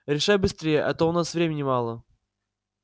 решай быстрее а то у нас времени мало